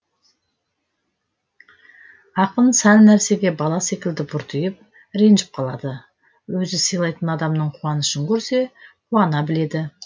ақын сәл нәрсеге бала секілді бұртиып ренжіп қалады өзі сыйлайтын адамның қуанышын көрсе қуана біледі